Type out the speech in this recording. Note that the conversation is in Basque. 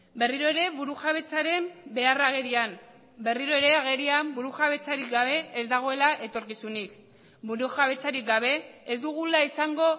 berriro ere burujabetzaren beharra agerian berriro ere agerian buru jabetzarik gabe ez dagoela etorkizunik burujabetzarik gabe ez dugula izango